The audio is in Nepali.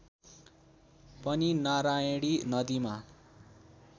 पनि नारायणी नदीमा